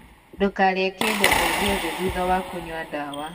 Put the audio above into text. Ndūkarīe kīndo o gīothe thutha wa kūnyua ndawa